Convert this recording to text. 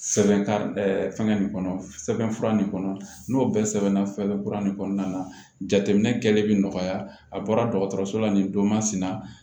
Sɛbɛn ka fɛnkɛ nin kɔnɔ sɛbɛn fura nin kɔnɔ n'o bɛɛ sɛbɛnna fɛn kura nin kɔnɔna na jateminɛ kɛlen bɛ nɔgɔya a bɔra dɔgɔtɔrɔso la nin don masina